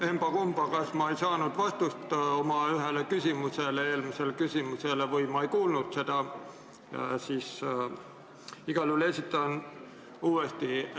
Emba-kumba, ma kas ei saanud oma eelmisele küsimusele vastust või ma ei kuulnud seda, igal juhul esitan küsimuse uuesti.